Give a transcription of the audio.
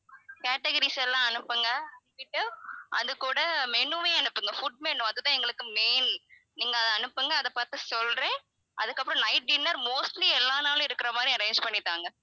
categories எல்லாம் அனுப்புங்க எங்க கிட்ட அது கூட menu வையும் அனுப்புங்க food menu அது தான் எங்களுக்கு main நீங்க அத அனுப்புங்க அதை பார்த்து சொல்றேன் அதுக்கப்புறம் night dinner mostly எல்லா நாளும் இருக்கிற மாதிரி arrange பண்ணி தாங்க